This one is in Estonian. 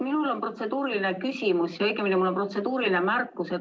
Minul on protseduuriline küsimus või õigemini on mul protseduuriline märkus.